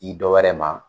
I dɔ wɛrɛ ma